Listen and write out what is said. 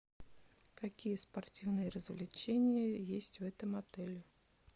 какие спортивные развлечения есть в этом отеле